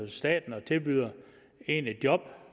staten og tilbyder en et job